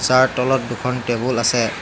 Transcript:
Sir তলত দুখন table আছে।